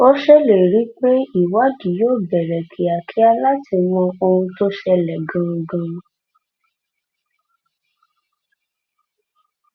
ó ṣèlérí pé ìwádìí yóò bẹ̀rẹ̀ kíákíá láti mọ ohun tó ṣẹlẹ̀ gan-an gan-an